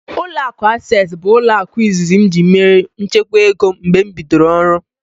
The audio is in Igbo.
Ụlọakụ Asesi bụ ụlọaku izizi ji mère nchekwa ego m mgbe m bidoro ọrụ